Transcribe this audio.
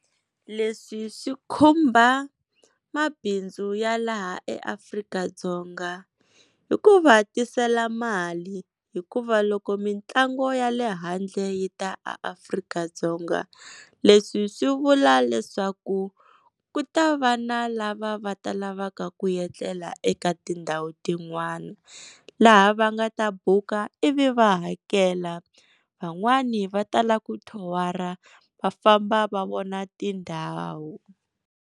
Leswi swi khumba mabindzu ya laha eAfrika -Dzonga, hi ku va tisela mali hikuva loko mitlangu ya le handle yi ta a Afrika-Dzonga leswi swi vula leswaku ku ta va na lava va ta lavaka ku etlela eka tindhawu tin'wana laha va nga ta buka ivi va hakela. Van'wani va tala ku thowara va famba va vona tindhawu.